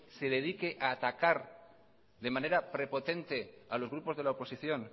se dedique a atacar de manera prepotente a los grupos de la oposición